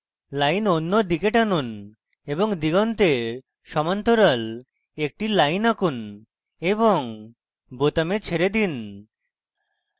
line অন্যদিকে টানুন এবং দিগন্তের সমান্তরাল একটি line আঁকুন এবং বোতামে ছেড়ে দিন